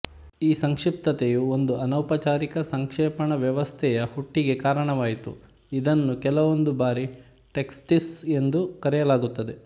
ಈ ಸಂಕ್ಷಿಪ್ತತೆಯು ಒಂದು ಅನೌಪಚಾರಿಕ ಸಂಕ್ಷೇಪಣ ವ್ಯವಸ್ಥೆಯ ಹುಟ್ಟಿಗೆ ಕಾರಣವಾಯಿತು ಇದನ್ನು ಕೆಲವೊಂದು ಬಾರಿ ಟೆಕ್ಸ್ಟೀಸ್ ಎಂದು ಕರೆಯಲಾಗುತ್ತದೆ